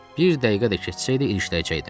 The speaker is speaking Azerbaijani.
Bir dəqiqə də keçsəydi ilişdirəcəydim.